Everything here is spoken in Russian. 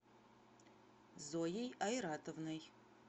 зоей айратовной